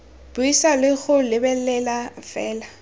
buisa le go lebelela fela